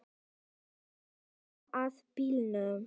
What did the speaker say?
Þær eru komnar að bílnum.